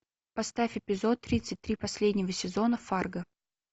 поставь эпизод тридцать три последнего сезона фарго